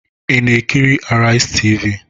Ị na-ekiri Araizi Tv?